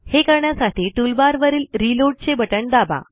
हे करण्यासाठी टूलबार वरील रीलोड चे बटण दाबा